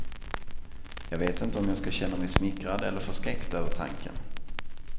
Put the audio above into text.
Jag vet inte om jag skall känna mig smickrad eller förskräckt över tanken.